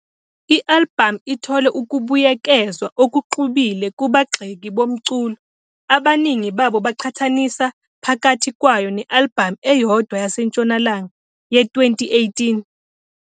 I-albhamu ithole ukubuyekezwa okuxubile kubagxeki bomculo, abaningi babo beqhathanisa phakathi kwayo ne-albhamu eyedwa yaseNtshonalanga, "Ye", 2018.